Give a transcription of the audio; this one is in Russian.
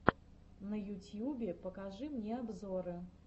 на ютьюбе покажи мне обзоры